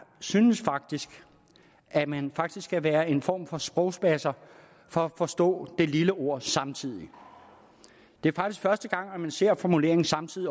synes faktisk at man skal være en form for sprogspasser for at forstå det lille ord samtidig det er faktisk første gang at man overhovedet ser formuleringen samtidig